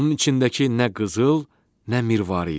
Onun içindəki nə qızıl, nə mirvarı idi.